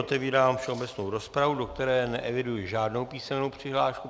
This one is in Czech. Otevírám všeobecnou rozpravu, do které neeviduji žádnou písemnou přihlášku.